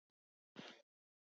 Þá er kallið komið.